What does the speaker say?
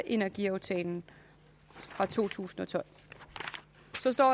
i energiaftalen fra to tusind og tolv